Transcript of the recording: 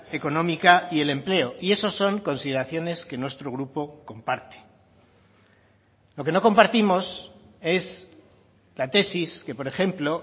económica y el empleo y eso son consideraciones que nuestro grupo comparte lo que no compartimos es la tesis que por ejemplo